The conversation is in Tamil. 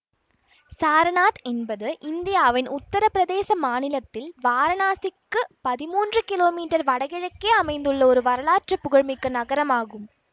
சாரநாத் என்பது இந்தியாவின் உத்தர பிரதேச மாநிலத்தில் வாரணாசிக்கு பதிமூன்று கிலோமீட்டர் வடகிழக்கே அமைந்துள்ள ஒரு வரலாற்று புகழ் மிக்க நகரம் ஆகும்